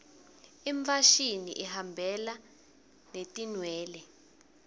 imfashini ihambelana netinwele